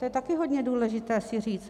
To je taky hodně důležité si říct.